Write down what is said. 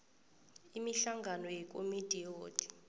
imihlangano yekomidi yewodi